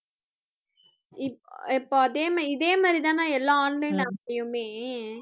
இப்ப அதே மாதிரி, இதே மாதிரி தானே எல்லா online app லயுமே